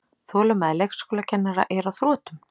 Þolinmæði leikskólakennara er á þrotum